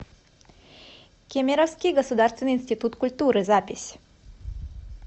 кемеровский государственный институт культуры запись